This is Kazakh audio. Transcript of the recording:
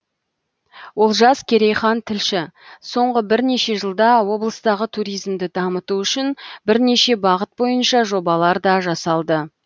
олжас керейхан тілші соңғы бірнеше жылда облыстағы туризмді дамыту үшін бірнеше бағыт бойынша жобалар да жасалды